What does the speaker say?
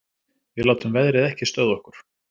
Við látum veðrið ekki stöðva okkur